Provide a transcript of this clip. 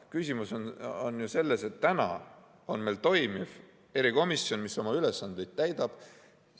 Küsimus on ju selles, et täna on meil toimiv erikomisjon, mis oma ülesandeid täidab.